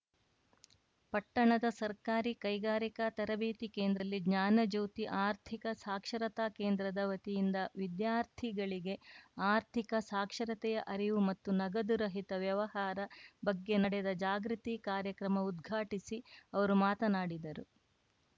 ಪಟ್ಟಣದ ಸರ್ಕಾರಿ ಕೈಗಾರಿಕಾ ತರಬೇತಿ ಕೇಂದ್ರದಲ್ಲಿ ಜ್ಞಾನ ಜ್ಯೋತಿ ಆರ್ಥಿಕ ಸಾಕ್ಷರತಾ ಕೇಂದ್ರದ ವತಿಯಿಂದ ವಿದ್ಯಾರ್ಥಿಗಳಿಗೆ ಆರ್ಥಿಕ ಸಾಕ್ಷರತೆಯ ಅರಿವು ಮತ್ತು ನಗದು ರಹಿತ ವ್ಯವಹಾರ ಬಗ್ಗೆ ನಡೆದ ಜಾಗೃತಿ ಕಾರ್ಯಕ್ರಮ ಉದ್ಘಾಟಿಸಿ ಅವರು ಮಾತನಾಡಿದರು